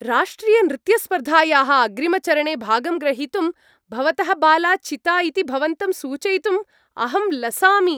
राष्ट्रियनृत्यस्पर्धायाः अग्रिमचरणे भागं ग्रहीतुं भवतः बाला चिता इति भवन्तं सूचयितुम् अहम् लसामि।